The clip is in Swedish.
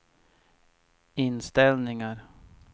inställningar